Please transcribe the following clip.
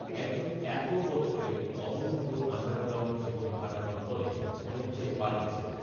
এক জন এত বছরের অবরুদ্ধ আণ্ডারগ্রাউণ্ড জীবন কাটানোর পরে অনেকটাই পাল্টেছেন